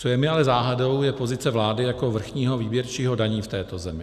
Co je mi ale záhadou, je pozice vlády jako vrchního výběrčího daní v této zemi.